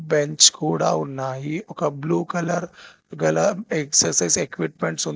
bench కూడా ఉన్నాయి ఒక బ్లూ కలర్ గల ఎక్సర్సైజ్ ఎక్విప్మెంట్స్ ఉ--